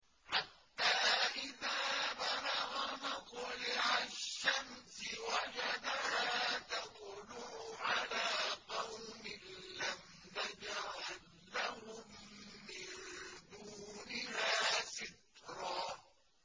حَتَّىٰ إِذَا بَلَغَ مَطْلِعَ الشَّمْسِ وَجَدَهَا تَطْلُعُ عَلَىٰ قَوْمٍ لَّمْ نَجْعَل لَّهُم مِّن دُونِهَا سِتْرًا